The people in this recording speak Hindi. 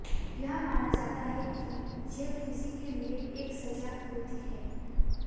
यह माना जाता है कि जेल किसी के लिए एक सजा होती है